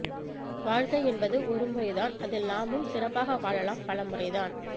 வாழ்க்கை என்பது ஒரு முறை தான் அதில் நாமும் சிறப்பாக வாழலாம் பலமுறை தான்